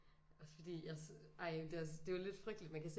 Også fordi jeg ej det er også det er lidt frygteligt man kan se